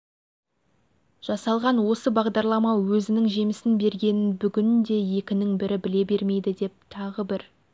жасалған осы бағдарлама өзінің жемісін бергенін бүгінде екінің бірі біле бермейді деп тағы бір